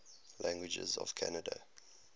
languages of canada